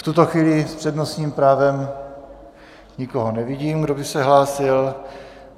V tuto chvíli s přednostním právem nikoho nevidím, kdo by se hlásil.